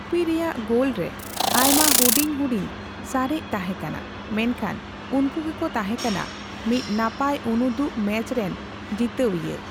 UPI ᱨᱮᱭᱟᱜ goal ᱨᱮ ᱟᱭᱢᱟ ᱦᱩᱰᱤᱧᱼᱦᱩᱰᱤᱧ ᱥᱟᱨᱮᱡ ᱛᱟᱦᱮᱸᱠᱟᱱᱟ, ᱢᱮᱱᱠᱷᱟᱱ ᱩᱱᱠᱩ ᱜᱮᱠᱚ ᱛᱟᱦᱮᱸᱠᱟᱱᱟ ᱢᱤᱫ ᱱᱟᱯᱟᱭ ᱩᱱᱩᱫᱩᱜ ᱢᱮᱪ ᱨᱮᱱ ᱡᱤᱛᱟᱹᱣᱤᱭᱟᱹ ᱾